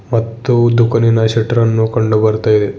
ಮತ್ತು ದುಖಾನಿನ ಶೆಲ್ಟರನ್ನು ಕಂಡು ಬರ್ತಾ ಇದೆ.